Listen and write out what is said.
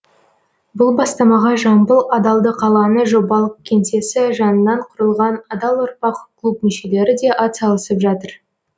бұл бастамаға жамбыл адалдық алаңы жобалық кеңсесі жанынан құрылған адал ұрпақ клуб мүшелері де ат салысып жатыр